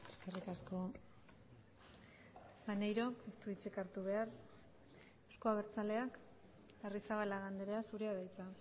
eskerrik asko maneiro ez du hitzik hartu behar euzko abertzaleak arrizabalaga andrea zurea da hitza